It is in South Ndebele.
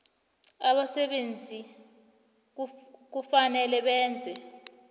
abasebenzi kufanele benze